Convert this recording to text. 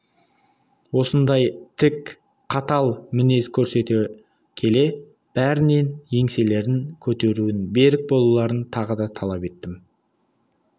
осындай тік қатал мінез көрсете келе бәрінен еңселерін көтеруін берік болуларын тағы да талап еттім